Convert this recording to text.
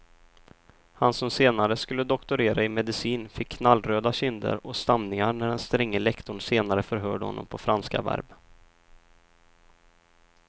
Han som senare skulle doktorera i medicin fick knallröda kinder och stamningar när den stränge lektorn senare förhörde honom på franska verb.